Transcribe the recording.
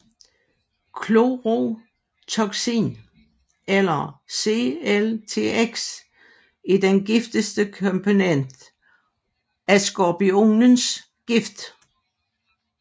Chlorotoxin eller CLTX er den giftigste komponent af skorpionens gift